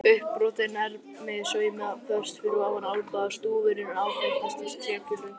uppbrotin ermin saumuð föst fyrir ofan olnbogann, stúfurinn áþekkastur trékylfu.